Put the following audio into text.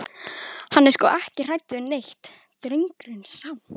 Hann er sko ekki hræddur við neitt, drengurinn sá.